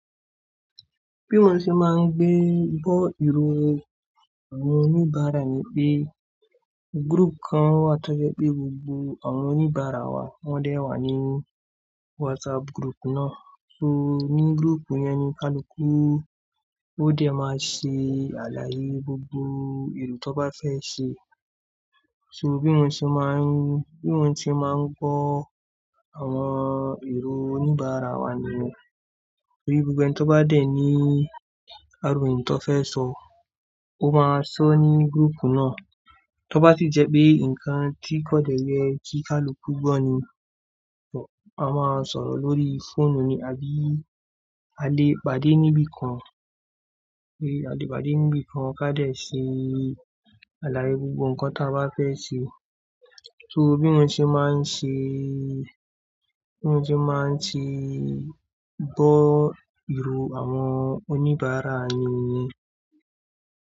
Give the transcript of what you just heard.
Bí mo n ṣe máa ń gbé gbọ́ ìró àwọn oníbàárà ni pé group kan wà tí ó jẹ́ pé gbogbo àwọn oníbàárà wa wọ́n dẹ̀ wà ní WhatsApp group náà. So ní group yẹn ni kaluku ó dẹ̀ máa ṣe àlàyé gbogbo èrò tó bá fẹ́ ṣe. So bí wón ṣe máà ń, bí wón ṣe máa ń gbọ́ àwọn èró oníbàárà wa nìyẹn. Torí gbogbo ẹni tó bá dẹ̀ ní àròyé tó fẹ́ sọ, ó máa sọ ní group náà. Tó bá sì jẹ́ pé nǹkan tí kò dẹ yẹ kí kaluku gbọ́ ni, a máa sọ̀rọ̀ lórí fóònù ni àbí a lè pàdé níbí kan. Torí a lè pàdé níbí kan kí a dẹ ṣe àlàyé gbogbo ǹkan tí a bá fẹ́ ṣe. So bí wón ṣe máa ń ṣe, bí wón ṣe máa ti gbọ́ ìró àwọn oníbàárà ni.